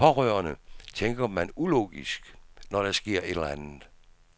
Som pårørende tænker man ulogisk, når der sker et eller andet.